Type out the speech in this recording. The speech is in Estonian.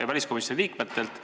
ja väliskomisjoni liikmetelt.